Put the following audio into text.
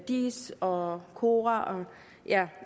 diis og cora